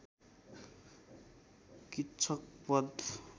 किच्चक बध